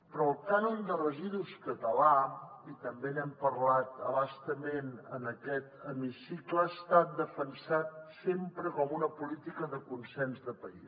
però el cànon de residus català i també n’hem parlat a bastament en aquest hemicicle ha estat defensat sempre com una política de consens de país